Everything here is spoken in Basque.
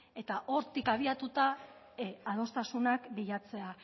eta hortik abiatuta adostasunak bilatzea